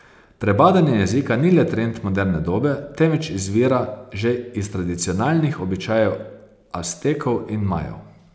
Prebadanje jezika ni le trend moderne dobe, temveč izvira že iz tradicionalnih običajev Aztekov in Majev.